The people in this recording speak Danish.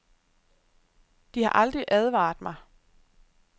De har aldrig advaret mig.